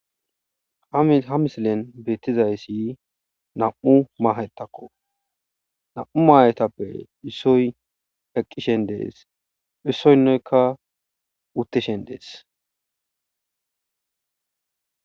ha misilen beettizayssi nam7u mahettakko nam7u maayetappe issoy heqqishen dees issoynnoykka utteshen dees